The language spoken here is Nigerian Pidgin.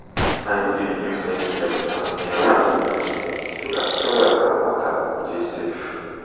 i no dey use any chemical near well so dat soil and water go dey safe.